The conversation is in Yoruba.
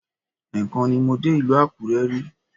Ẹ́ẹ̀kan ni mo dé ìlú Àkúrẹ́ rí